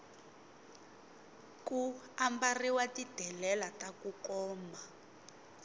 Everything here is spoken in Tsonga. ku ambarhiwa ti delela taku koma